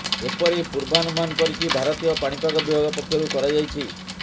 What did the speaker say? ଏପରି ପୂର୍ବାନୁମାନ କରିଛି ଭାରତୀୟ ପାଣିପାଗ ବିଭାଗ ପକ୍ଷରୁ କରାଯାଇଛି